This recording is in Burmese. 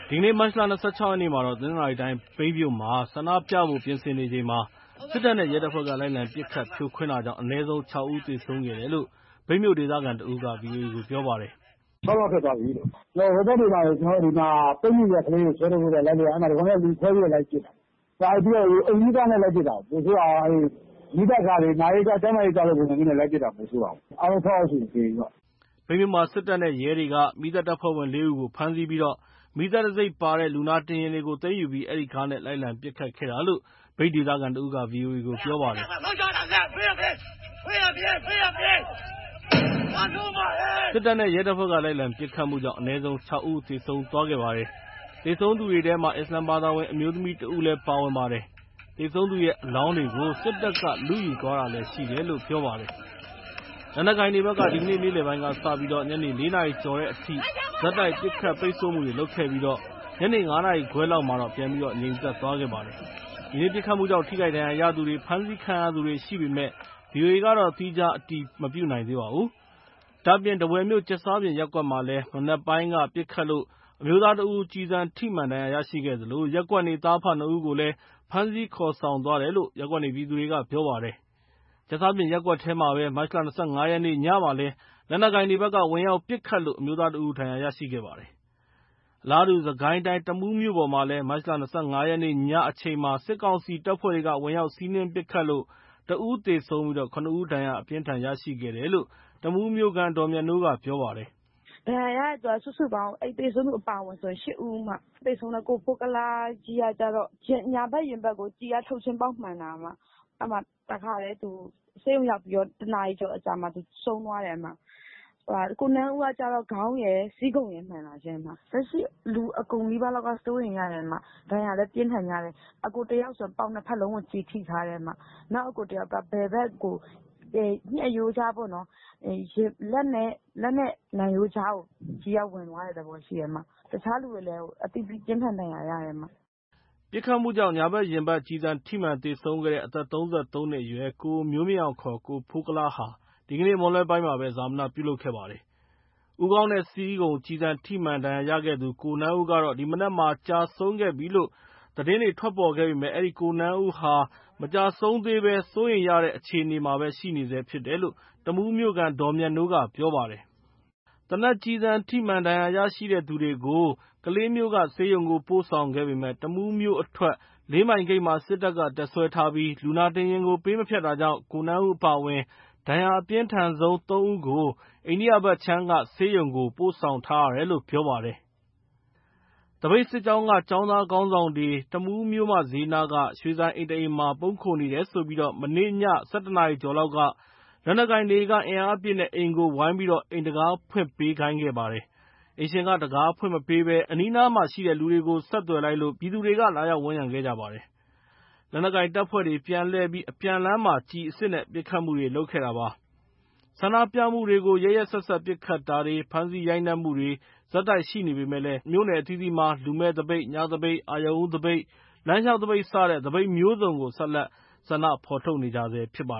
ဒီကနေ့ မတ်လ ၂၆ ရက်နေ့ တနင်္သာရီတိုင်း မြိတ်မြို့မှာ ဆန္ဒပြပွဲဖို့ ပြင်ဆင်နေချိန် စစ်တပ်နဲ့ ရဲတပ်ဖွဲ့တွေက လိုက်လံပစ်ခတ် ဖြိုခွင်းရာ အနည်းဆုံး ၆ ဦး သေဆုံးရတယ်လို့ မြိုတ်ဒေသခံ တစ်ဦးက ဗွီအိုအေကို ပြောပါတယ်။ “ ၆ ယောက်ဖြစ်သွားပြီးလို့။ ဟိုဘက်တွေမှာ ကျနော်တို့ ပိတ်မိနေတဲ့ ကလေးတွေ ဆွဲထုတ်ဖို့ လိုက်လုပ်တာ ဒီကောင်တွေက လူခွဲပြီး လိုက်ပစ်တာ ဘာတွေနဲ့ပစ်လဲ အိမ်စီးကားနဲ့ လိုက်ပစ်တာ ပိုဆိုးတာက အဲ့မီးသတ်ကားတွေ နာရေးကား ကျန်းမာရေးကားလိုပုံစံမျိုးနဲ့ လိုက်ပစ်တာ ပိုဆိုးတာပေါ့ အားလုံး ၆ ယောက်ရှိပြီ။” မြိတ်မြို့မှာ စစ်တပ်နဲ့ ရဲတွေက မီးသတ်တပ်ဖွဲ့ဝင် ၄ ဦးကို ဖမ်းဆီးပြီး မီးသတ်တံဆိပ်ပါတဲ့ လူနာတင်ယာဉ်တွေကို သိမ်းယူပြီး အဲ့ဒီကားနဲ့ လိုက်လံပစ်ခတ်နေတာလို့ မြိတ်ဒေသခံက ဗွီအိုအေကို ပြောပါတယ်။ စစ်တပ်နဲ့ ရဲတပ်ဖွဲ့က လိုက်လံပစ်ခတ်မှုကြောင့် အနည်းဆုံး ၆ ဦး သေဆုံးခဲ့ပါတယ်။ သေဆုံးသူထဲက အစ္စလာမ်ဘာသာဝင် အမျိုးသမီး တစ်ဦးလည်း ပါဝင်ပါတယ်။ သေဆုံးသူရဲ့ အလောင်းတွေကို စစ်တပ်က လုယူသွားတာလည်း ရှိတယ်လို့ ပြောပါတယ်။ လက်နက်ကိုင်တွေဘက်က ဒီကနေ့ နေ့လယ်ပိုင်းကစပြီး ည ၄ နာရီကျော်အထိ ဆက်တိုက်ပစ်ခတ် ပိတ်ဆို့မှုတွေ လုပ်ခဲ့ပြီး ညနေ ၅ နာရီခွဲလောက်မှာ ပြန်ငြိမ်သွားပါတယ်။ ဒီနေ့ ပစ်ခတ်မှုကြောင့် ထိခိုက်ဒဏ်ရာရှိသူတွေ ဖမ်းဆီးခံရသူတွေ ရှိပေမယ့် ဗွီအိုအေက သီးခြားအတည်မပြုနိုင်သေးပါဘူး။ ဒါအပြင် ထားဝယ်မြို့ ကြက်စားပြင်ရပ်ကွက်မှာ မနက်ပိုင်းက ပစ်ခတ်လို့ အမျိုးသားတစ်ဦး ကျည်ထိမှန်ဒဏ်ရာရရှိသလို ရပ်ကွက်နေ သားအဖ နှစ်ဦးကိုလည်း ဖမ်းဆီးခေါ်ဆောင်သွားတယ်လို့ရပ်ကွက်နေပြည်သူတွေက ပြောပါတယ်။ ကြက်စားပြင်ရပ်ကွက်မှာပဲ မတ်လ ၂၅ ရက်နေ့ ညမှာလည်း လက်နက်ကိုင်တွေဘက်က ဝင်ရောက်ပစ်ခတ်လို့ အမျိုးသားတစ်ဦး ဒဏ်ရာရှိခဲ့ပါတယ်။ အလာတူး စစ်ကိုင်းတိုင်း တမူးမြို့ပေါ်မှာ မတ်လ ၂၅ ရက်နေ့ ညအချိန်မှာ စစ်ကောင်စီတပ်ဖွဲ့တွေက ဝင်ရောက် စီးနင်းပစ်ခတ်လို့ တစ်ဦးသေဆုံးပြီး ၇ ဦးဒဏ်ရာအပြင်းအထန် ရရှိတယ်လို့ တမူးမြို့ခံ ဒေါ်မြတ်နိုးက ပြောပါတယ်။ “ဒဏ်ရာရတဲ့သူ စုစုပေါင်း အဲ့သေဆုံးသူအပါအဝင်ဆို ၈ ဦး၊ သေဆုံးတဲ့ ကိုဖိုးကုလားကြီးကကျတော့ ညာဘက်ရင်ဘတ်ကို ကျည်က ထုတ်ချင်းပေါက်မှန်တာ အဲ့မှာတစ်ခါတည်း သူဆေးရုံရောက်ပြီးတော့ တစ်နာရီကျော်အကြာမှာ သူဆုံးသွားတယ်၊ ကိုနန်းဦးကကျတော့ ခေါင်းရယ်၊ ဆီးခုံရယ်မှန်တာရှင့်။ လက်ရှိလူအကုန်နီးပါးလောက်က စိုးရိမ်ရတယ်။ ဒဏ်ရာလည်း ပြင်းထန်ကြတယ်။ အစ်ကိုတစ်ယောက်ဆို ပေါင်နှစ်ဖက်လုံးကို ကျည်ထိထားတယ်။ နောက်အစ်ကိုတစ်ယောက်က ဘယ်ဘက်ကို ညှပ်ရိုးကြားပေါ့နော်၊ လက်နဲ့နံရိုးကြားကို ကျည်ကဝင်သွားတဲ့သဘောရှိတယ် တခြားလူတွေလည်း အသီးသီးပြင်းထန်ဒဏ်ရာရတယ်။” ပစ်ခတ်မှုကြောင့် ညာဘက်ရင်ဘတ် ကျည်ထိမှန် သေဆုံးခဲ့တဲ့ အသက် ၃၃ နှစ်အရွယ် ကိုမျိုးမြင့်အောင် ကိုဖိုးကုလားဟာ ဒီကနေ့ မွန်းလွဲပိုင်းမှာ ဈာပနပြုလုပ်ခဲ့ပါတယ်။ ဦးခေါင်းနဲ့ ဆီးခုံ ကျည်ထိမှန် ဒဏ်ရာရထားသူ ကိုနန်းဦးကတော့ ဒီမနက်မှာ ကျဆုံးပြီးလို့ သတင်းတွေ ထွက်ပေါ်နေပါတယ်။ အဲ့ဒီ ကိုနန်းဦးကတော့ မကျဆုံးသေဘဲ စိုးရိမ်ရတဲ့ အခြေအနေရှိနေတယ်လို့ တမူးမြို့ခံ ဒေါ်မြတ်နိုးကပြောပါတယ်။ သေနတ်ကျည်ထိမှန် ဒဏ်ရာရှိသူများကို ကလေးဆေးရုံသို့ ပို့ဆောင်ခဲ့ပေမယ့် တမူးမြို့အထွက် လေးမိုင်ဂိတ်မှာ စစ်တပ်က တပ်စွဲထားပြီး လူနာတင်ယာဉ်ကို ပေးမဖြတ်တာကြောင့် ကိုနန်းဦးအပါအဝင် ဒဏ်ရာအပြင်းထန်ဆုံး သုံးဦးကိုတော့ အိန္ဒိယဘက်ခြမ်းက ဆေးရုံကို ပို့ဆောင်ထားရတယ်လို့ ပြောပါတယ်။ သပိတ်စစ်ကြောင်းက ကျောင်းသားခေါင်းဆောင်တွေတမူးမြို့မဈေးနားက ရွှေဆိုင်အိမ်တစ်အိမ်မှာ ပုန်းခိုနေတယ်ဆိုပြီးမနေ့ည ၁၁ နာရီကျော် လက်နက်ကိုင်တွေက အင်အားအပြည့်နဲ့ အိမ်ကို ဝိုင်ပြီး အိမ်တံခါးဖွင့်ပေးခိုင်းတာပါ။ အိမ်ရှင်က တံခါးမဖွင့်ပေးဘဲ အနီးနားကလူကို ဆက်သွယ်လိုက်လို့ ပြည်သူတွေက လာရောက်ဝန်ရံခဲ့ပါတယ်။ လက်နက်ကိုင်တပ်ဖွဲ့တွေ ပြန်လှည့်ပြီး အပြန်လမ်းမှာ ကျည်အစစ်နဲ့ ပစ်ခတ်မှုတွေ လုပ်ခဲ့တာပါ။ ဆန္ဒပြမှုတွေကို ရက်ရက်စက်စက် ပစ်ခတ်တာတွေ ဖမ်းဆီးရိုက်နှက်မှုတွေ ဆက်တိုက်ရှိနေပေမယ့် မြို့နယ်အသီးသီးမှာ လူမဲ့သပိတ်၊ ညသပိတ်၊ အရုဏ်ဦးသပိတ်၊ လမ်းလျှောက်သပိတ် စတဲ့ သပိတ်မျိုးစုံ ဆက်လက် ဆန္ဒထုတ်ဖော်နေကြဆဲပါ